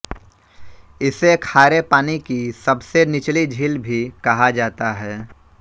इसे खारे पानी की सबसे निचली झील भी कहा जाता है